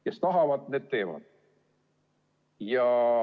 Kes tahavad, need teevad.